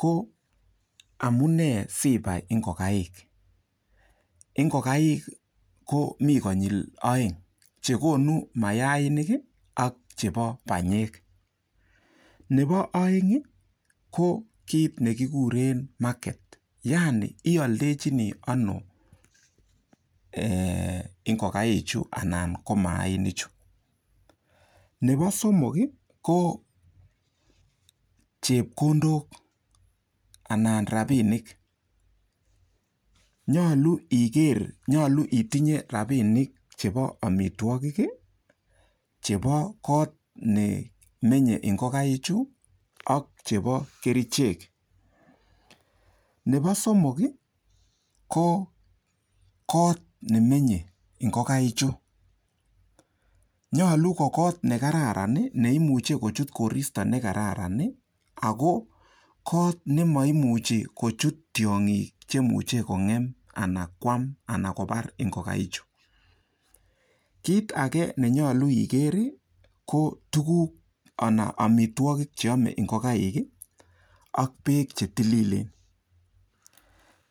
ko amune sibai ingokaik ingokaik ko mi konyil oeng chekonu mayainik ak chebo banyek nebo oeng ko kiit nekikure market yaani ioldochini ano ingokaichu anan ko mayainichu nibo somok ko chepkondok anan rapinik nyolu iker nyolu itinye rapinik chebo omitwokik chebo koot nemenyei ingokaik chu ak chebo kerichek nebo somok ko koot nemenyei ingokaik chu nyolu ko koot ne kararan neimuche kochut koristo nekararan ako koot nemaimuche kochut tiong'ik cheimuche kongem ana koam ana kobar ingokaik chu kiit ake nenyolu igere ko tukuk ana amitwokik cheame ngokaik ak beek che tililen.